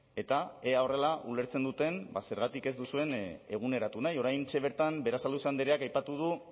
eta ea horrela ulertzen duten zergatik ez duzuen eguneratu nahi oraintxe bertan berasaluze andreak aipatu du